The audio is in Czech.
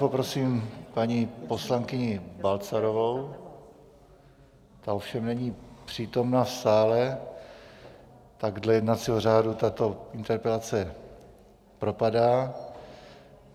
Poprosím paní poslankyni Balcarovou, ta ovšem není přítomna v sále, tak dle jednacího řádu tato interpelace propadá.